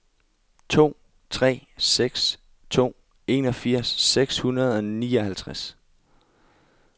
to tre seks to enogfirs seks hundrede og nioghalvtreds